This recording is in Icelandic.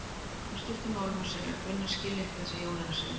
Í stuttu máli má segja að Gunna skilji ekki það sem Jón er að segja.